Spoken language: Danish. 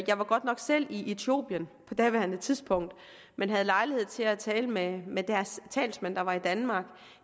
jeg var godt nok selv i etiopien på daværende tidspunkt men havde lejlighed til at tale med med deres talsmand der var i danmark